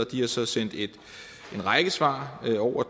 de har så sendt en række svar over